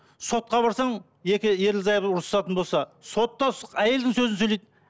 сотқа барсаң екі ерлі зайыбы ұрсатын болса сот та әйелдің сөзін сөйлейді